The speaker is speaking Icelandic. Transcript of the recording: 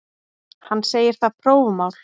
Hann segir það prófmál.